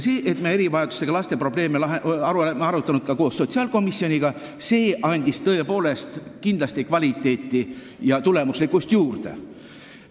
See, et me erivajadustega laste probleeme oleme arutanud koos sotsiaalkomisjoniga, andis tõepoolest kindlasti kvaliteeti ja tulemuslikkust juurde.